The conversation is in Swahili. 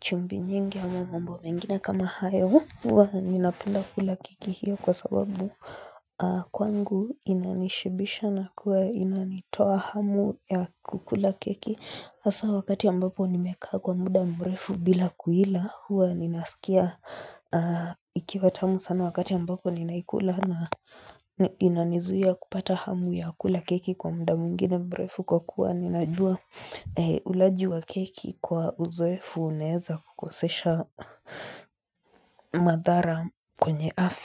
chumbi nyingi ya mambo mengina kama hayo hua nina penda kula kiki hiyo kwa sababu kwangu inanishibisha na kuwa inanitoa hamu ya kukula kiki asa wakati ambapo nimeka kwa muda mrefu bila kuila hua ninasikia ikiwatamu sana wakati ambapo ninaikula na inanizuia kupata hamu ya kukula keki kwa muda mingine mbrefu kwa kuwa ninajua ulajua kiki Ikua uzwe funeza kukosesha madara kwenye afi.